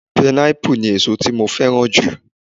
Pineapple ni èsó tí mo fẹ́ràn jù.